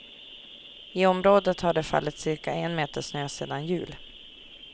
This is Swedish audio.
I området har det fallit cirka en meter snö sedan jul.